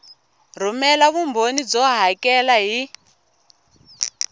rhumela vumbhoni byo hakela hi